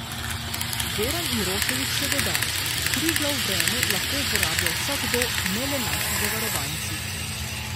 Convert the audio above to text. Goran Juroševič še dodaja: 'Triglav Vreme lahko uporablja vsakdo, ne le naši zavarovanci.